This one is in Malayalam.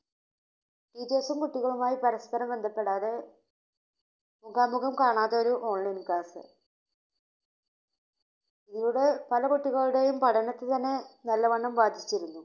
ടീച്ചേഴ്സും കുട്ടികളുമായി പരസ്പരം ബന്ധപ്പെടാതെ മുഖാമുഖം കാണാതെ ഒരു ഓൺലൈൻ ക്ലാസ്. ഇവിടെ പല കുട്ടികളുടെയും പഠനത്തിന് തന്നെ നല്ലവണ്ണം ബാധിച്ചിരുന്നു.